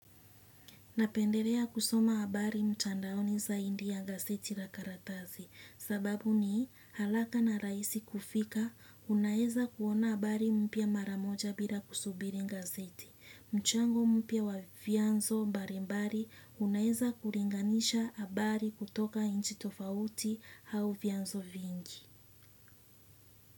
Napendelea kusoma habari mtandaoni zaidi ya gazeti la karatasi, sababu ni haraka na rahisi kufika, unaeza kuona habari mpya mara moja bila kusubiri gazeti. Mchango mpya wa vianzo mbalimbali, unaeza kulinganisha habari kutoka nchi tofauti au vianzo vingi.